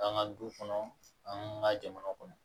An ka du kɔnɔ an ka jamana kɔnɔ